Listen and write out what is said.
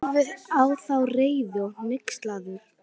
Horfði á þá, reiður og hneykslaður.